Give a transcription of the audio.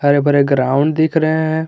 हरे भरे ग्राउंड दिख रहे हैं।